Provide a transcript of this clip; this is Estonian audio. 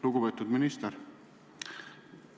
Lugupeetud minister!